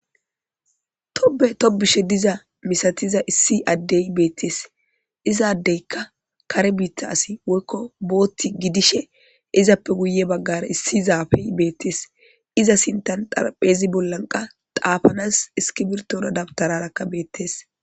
tobe tobushe diza misatiza issi addey beettees izaadeyka kare biitta asi woykko bootti gidishe izappe guye baggara issizaafey beettees iza sintan xarpheezi bollan qa xaafanas iski birtona dabtararakka beettees